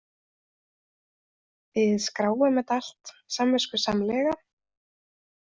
Við skráum þetta allt samviskusamlega.